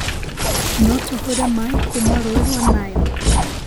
No tũhũre maaĩ kũũma rũũĩ rwa Nile